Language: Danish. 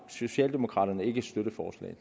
socialdemokraterne ikke støtte